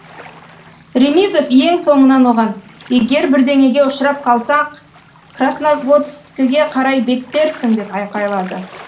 ремизов ең соңынан оған егер бірдеңеге ұшырап қалсақ красноводскіге қарай беттерсің деп айқайлады